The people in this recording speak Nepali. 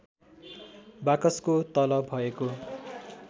बाकसको तल भएको